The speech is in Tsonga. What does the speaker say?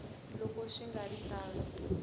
loko swi nga ri tano